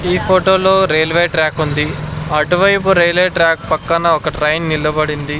ఈ ఫోటోలో railway track ఉంది అటువైపు రైల్వే ట్రాక్ పక్కన ఒక ట్రైన్ నిలబడింది.